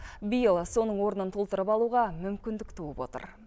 биыл соның орнын толтырып алуға мүмкіндік туып отыр